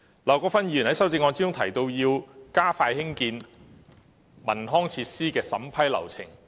劉國勳議員在修正案中提出要加快興建文康設施的審批流程。